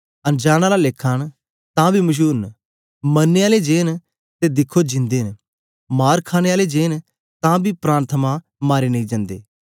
अनजांन आला लेखा न तां बी मशूर न मरने आलें जे न ते दिखो जिन्दे न मार खाणे आलें जे न तां बी प्राण थमां मारे नेई जंदे